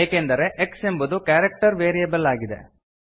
ಏಕೆಂದರೆ ಎಕ್ಸ್ ಎಂಬುದು character variable ಆಗಿದೆ